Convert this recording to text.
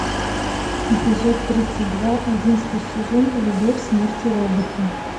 эпизод тридцать два одиннадцатый сезон любовь смерть и роботы